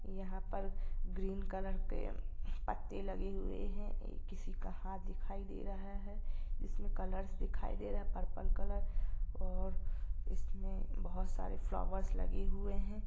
यहां पे green colour के पत्ते लगे हुए है किसी का हाथ दिखाई दे रहा है इसमे कलर दिखाय दे रहा है पर्पल कलर और इसमे बहुत सारे फ्लावरस लगे हुए है।